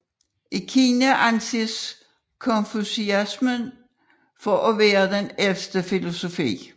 I Kina anses konfusianisme for at være den ældste filosofi